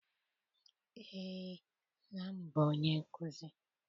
Eé, nna m bụ onye nkụzi.